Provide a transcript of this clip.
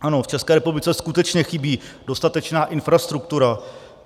Ano, v České republice skutečně chybí dostatečná infrastruktura.